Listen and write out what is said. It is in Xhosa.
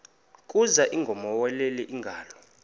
kuza ingowomeleleyo ingalo